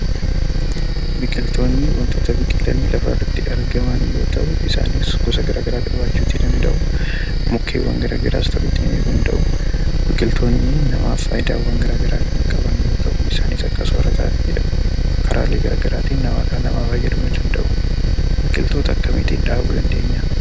Biqiltootni wantoota biqilanii lafarratti argaman yoo ta'u, isaanis gosa gara garaa qabaachuuti danda'u, mukkeewwan gara garaas ta'uutii ni danda'u. Biqiltoonni namaaf faayidaawwan gara garaa kan qaban yoo ta'u, isaanis akka soorataattidha karaalee gara garaatiin dhala namaa fayyaduu ni danda'u. Biqiltoota akkamiitii dhaabuu dandeenyaa?